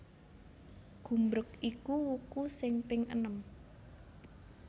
Gumbreg iku wuku sing ping enem